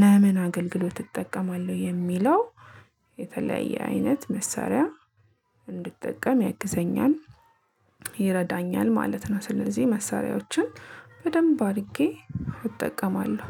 ለምን አገልግሎት እጠቀማለሁ የሚለው የተለያየ አይነት መሳሪያ እንድጠቀም ያግዘኛል ይረዳኛል ማለት ነው። ስለዚህ መሳሪያዎችን በደንብ አድርጌ እጠቀማለሁ።